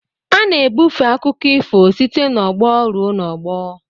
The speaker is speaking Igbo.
A na-ebufe akụkọ ifo site n'ọgbọ ruo n'ọgbọ